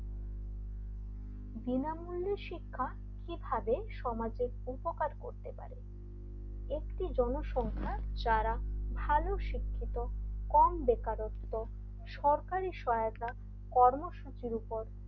বিনামূল্যে শিক্ষা কিভাবে সমাজের উপকার করতে পারে একটি জনসংখ্যা যারা ভালো শিক্ষিত কম বেকারত্ব সহায়তা কর্মসূচির উপর,